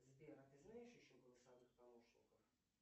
сбер а ты знаешь еще голосовых помощников